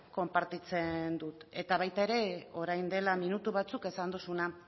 konpartitzen dut eta baita ere orain dela minutu batzuk esan duzuna